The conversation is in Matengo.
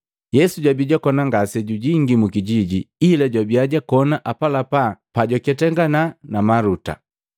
Yesu jwabi jwakona ngase jujingi mukijiji, ila jwabia jwakona apalapala pajwaketangana na Maluta.